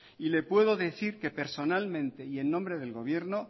y le puedo decir que personalmente y en nombre del gobierno